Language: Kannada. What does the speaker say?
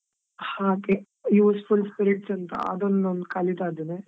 ಹಾಗೆ, useful spirits ಅಂತ, ಅದನೊಂದ್ ಕಲಿತಾ ಇದ್ದೇನೆ.